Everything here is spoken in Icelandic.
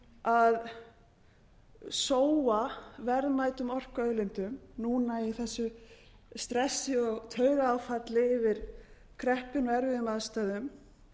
að sóa verðmætum orkuauðlindum núna í þessu stressi og taugaáfalli yfir kreppunni og erfiðum aðstæðum